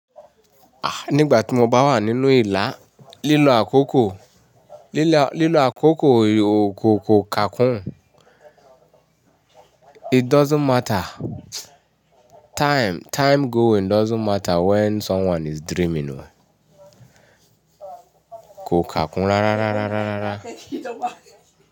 Ah nígbà tí mo bá wà nínú ìlà, lilo akoko. Lílo àkókò, lílo àkókò ò ko kakùn. It doesn't matter. Time, time going doesn't matter when someone is dreaming o. Ko kakùn rárárárárárá.